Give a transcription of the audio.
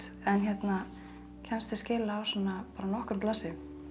en kemst til skila á bara nokkrum blaðsíðum